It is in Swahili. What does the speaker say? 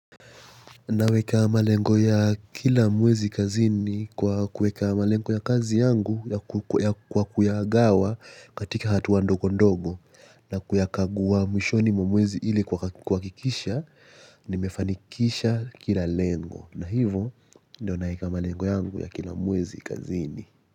Naweka malengo ya kila mwezi kazini kwa kuweka malengo ya kazi yangu ya kwa kuya gawa katika hatua ndogo ndogo. Na kuyakagua mwishoni mwa mwezi ili kuhakikisha nimefanikisha kila lengo. Na hivo ndio naweka malengo yangu ya kila mwezi kazini.